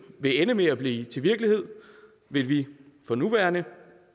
vil ende med at blive til virkelighed vil vi for nuværende